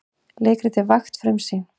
Leikritið Vakt frumsýnt